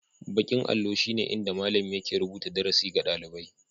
Baƙin allo shine inda malami yake rubuta darasi ga ɗalibai